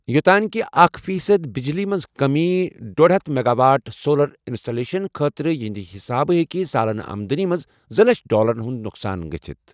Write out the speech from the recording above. یوٚتانۍ کہِ اکھَ فیصدبجلی منٛز کٔمی، ڈۄڈ یتھ میگا واٹ سولَر انسٹالیشَن خٲطرٕ ، یِہنٛدِ حسابہٕ ہیٚکہِ سالانہ آمدنی منز زٕ لچھَ ڈالر ہُنٛد نۄقصان گٔژھِتھ۔